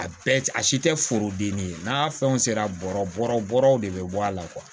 A bɛɛ a si tɛ forodenni ye n'a fɛnw sera bɔrɔw de bɛ bɔ a la